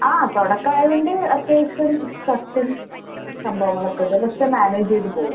ആഹ് തൊടക്കായോണ്ട് അത്യാവശ്യം സ്‌ട്രെസും സംഭവങ്ങളൊക്കൊണ്ട്. പക്ഷെ മാനേജ് ചെയ്ത് പോകുന്നു.